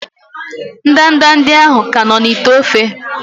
ndanda ndị ahụ ka nọ n'ite ofe?